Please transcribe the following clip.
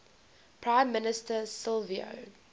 prime minister silvio